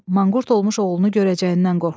Manqurt olmuş oğlunu görəcəyindən qorxdu.